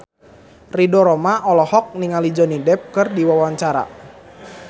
Ridho Roma olohok ningali Johnny Depp keur diwawancara